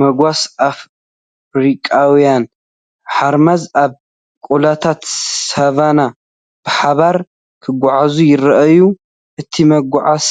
መጓሰ ኣፍሪቃውያን ሓራምዝ ኣብ ቆላታት ሳቫና ብሓባር ክጓዓዙ ይረኣዩ። እቲ መጓሰ